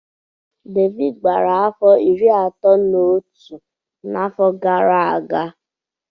Davido gbara afọ iri atọ na otu n'n'afọ a